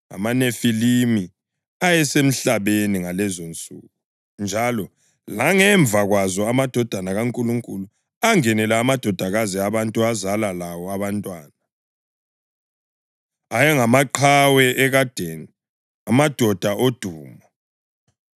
AmaNefilimi ayesemhlabeni ngalezonsuku. Njalo langemva kwazo amadodana kaNkulunkulu angenela amadodakazi abantu azala lawo abantwana. Ayengamaqhawe ekadeni, amadoda odumo.